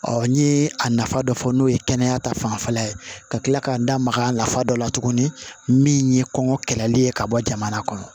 n ye a nafa dɔ fɔ n'o ye kɛnɛya ta fanfɛla ye ka kila k'an da maga a nafa dɔ la tuguni min ye kɔngɔ kɛlɛli ye ka bɔ jamana kɔnɔ